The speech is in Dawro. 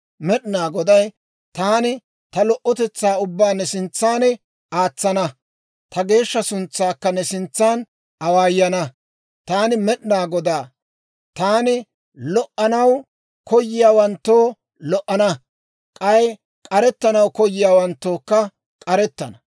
Med'inaa Goday, «Taani ta lo"otetsaa ubbaa ne sintsaana aatsana; ta geeshsha suntsaakka ne sintsaan awaayana. Taani Med'inaa Godaa; taani lo"anaw koyiyaawanttoo lo"ana; k'ay k'arettanaw koyiyawanttookka k'arettana.